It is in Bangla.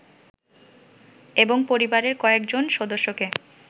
এবং পরিবারের কয়েজন সদস্যকে